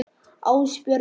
Ásbjörn Logi.